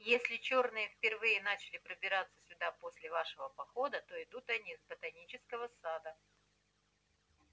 если чёрные впервые начали пробираться сюда после вашего похода то идут они с ботанического сада